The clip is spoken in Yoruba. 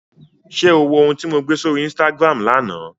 Ṣé o wo ohun tí mo gbé sórí Instagram lánàá?